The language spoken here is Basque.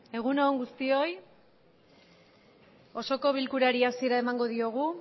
egun on guztioi osoko bilkurari hasiera emango diogu